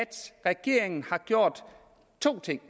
regeringen har gjort to ting